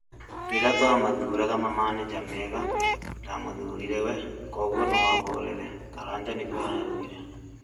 rĩrĩa twa mathũraga mamanĩnja ega ndamuthũrĩre we, kogũo noahorere Karanja nigũo araũgĩre